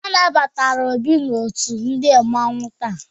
Anabatara Ọbi n'ọtu ndi mmanwu taa.